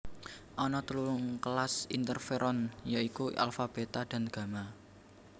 Ana telung kelas interferon ya iku alfa beta dan gamma